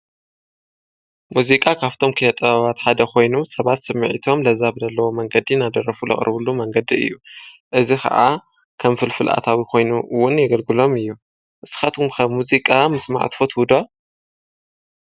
ሙዚቃ ካብቶም ኪነጠባባት ሓደ ኾይኑ ሰባት ስሚዒቶም ለዛብደለዎ መንገዲ ናደረፉ ለቕርብሉ መንገዲ እዩ እዝ ከዓ ከም ፍልፍልኣታዊ ኾይኑውን የገልግሎም እዩ። ንስኻትኩምከብ ሙዚቃ ምስ ማዕትፈት ቡዶ።